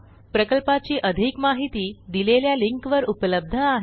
प्रकल्पाची अधिक माहिती दिलेल्या लिंकवर उपलब्ध आहे